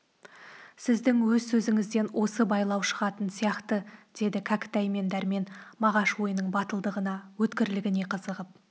сіздің өз сөзіңізден осы байлау шығатын сияқты деді кәкітай мен дәрмен мағаш ойының батылдығына өткірлігіне қызығып